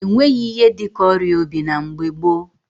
E nweghị ihe dị ka ọrịa obi na mgbe gboo.